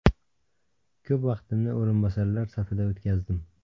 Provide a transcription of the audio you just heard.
Ko‘p vaqtimni o‘rinbosarlar safida o‘tkazdim.